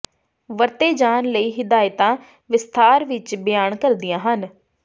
ਵਰਤੇ ਜਾਣ ਲਈ ਹਿਦਾਇਤਾਂ ਵਿਸਥਾਰ ਵਿਚ ਬਿਆਨ ਕਰਦੀਆਂ ਹਨ